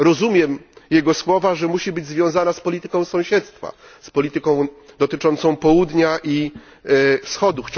Rozumiem jego słowa, że musi być związana z polityką sąsiedztwa, z polityką dotyczącą Południa i Wschodu.